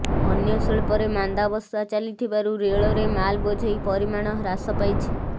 ଅନ୍ୟ ଶିଳ୍ପରେ ମାନ୍ଦାବସ୍ଥା ଚାଲିଥିବାରୁ ରେଳରେ ମାଲବୋଝେଇ ପରିମାଣ ହ୍ରାସ ପାଇଛି